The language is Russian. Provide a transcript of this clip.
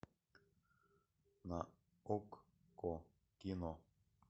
на окко кино